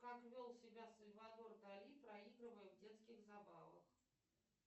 как вел себя сальвадор дали проигрывая в детских забавах